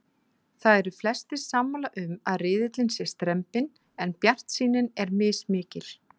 Það eru flestir sammála um að riðillinn sé strembinn en bjartsýnin er mismikil.